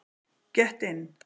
Get in!!!